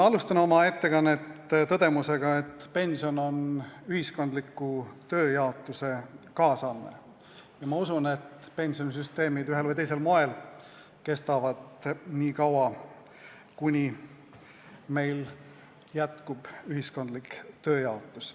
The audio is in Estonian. Ma alustan oma ettekannet tõdemusega, et pension on ühiskondliku tööjaotuse kaasanne, ja ma usun, et pensionisüsteemid ühel või teisel moel kestavad nii kaua, kuni meil jätkub ühiskondlik tööjaotus.